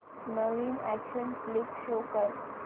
नवीन action flick show कर